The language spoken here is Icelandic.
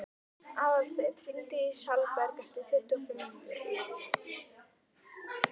Aðalsteinn, hringdu í Salberg eftir tuttugu og fimm mínútur.